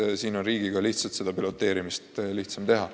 Viljandis on riigil lihtsalt seda piloteerimist lihtsam teha.